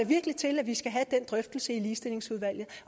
virkelig til at vi skal have den drøftelse i ligestillingsudvalget